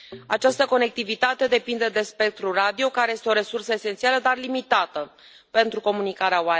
Această conectivitate depinde de spectrul radio, care este o resursă esențială, dar limitată, pentru comunicarea